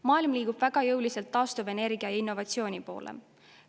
Maailm liigub väga jõuliselt taastuvenergia ja innovatsiooni poole.